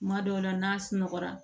Kuma dɔw la n'a sunɔgɔra